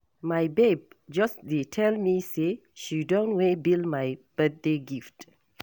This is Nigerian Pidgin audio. My babe just dey tell me say she don way bill my birthday gift.